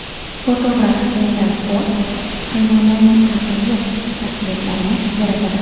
Fotograf Rendal Ford hayvonlarning ajoyib portretlarini yaratadi.